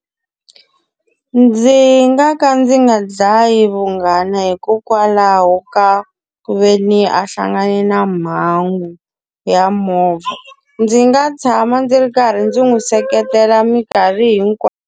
Ndzi nga ka ndzi nga dlayi vunghana hikokwalaho ka ku ve ni a hlangane na mhangu ya movha. Ndzi nga tshama ndzi ri karhi ndzi n'wi seketela minkarhi hinkwayo.